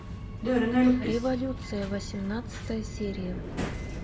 революция восемнадцатая серия